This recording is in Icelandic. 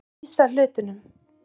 Að lýsa hlutunum